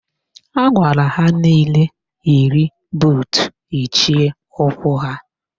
Agwara ha nile yiri buutu yichie ụkwụ ha